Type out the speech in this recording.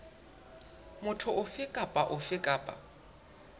motho ofe kapa ofe kapa